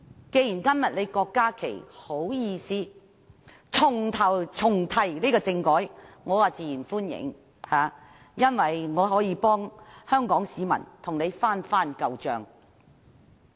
既然郭議員今天還好意思重提政改，我自然歡迎，因為我可以替香港市民與他翻舊帳。